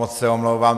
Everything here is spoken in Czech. Moc se omlouvám.